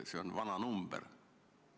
See on vana number.